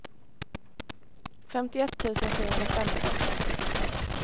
femtioett tusen sjuhundrafemton